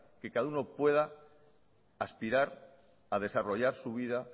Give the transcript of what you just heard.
que cada uno pueda aspirar a desarrollar su vida